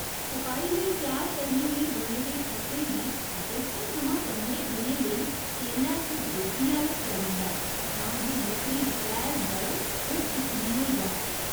छपाई लेई त्यार करने लेई बने दे ठप्पें गी दस्सें थमां पंदरें दिनें लेई तेलै च डोब्बियै रक्खेआ जंदा ऐ तां जे लकड़ी शैल नरम ते चिक्कनी होई जाऽ।